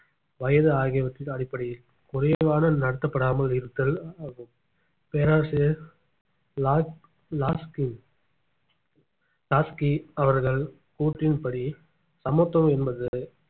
வயது ஆகியவற்றின் அடிப்படையில் குறைவான நடத்தப்படாமல் இருத்தல் பேராசிரியர் லா~ லாஸ்கி லாஸ்கி அவர்கள் கூற்றின்படி சமத்துவம் என்பது